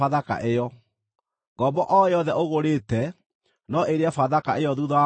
Ngombo o yothe ũgũrĩte no ĩrĩe Bathaka ĩyo thuutha wa kũmĩruithia,